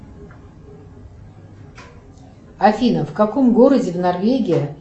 афина в каком городе в норвегии